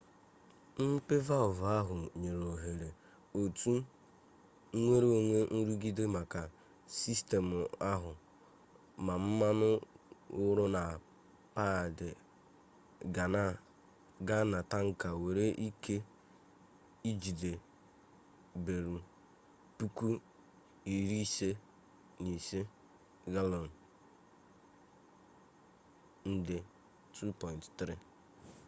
mmepe valvụ ahụ nyere òhèrè otu nnwereonwe nrụgide maka sistemụ ahụ ma mmanụ wụrụ na paadị gaa na taankị nwere ike ijide bareelụ 55,000 galọn nde 2.3